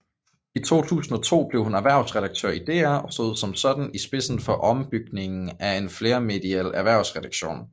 I 2002 blev hun erhvervsredaktør i DR og stod som sådan i spidsen for opbygningen af en flermediel erhvervsredaktion